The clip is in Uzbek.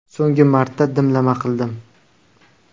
So‘nggi marta dimlama qildim.